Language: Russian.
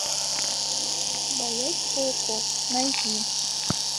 боязнь пауков найди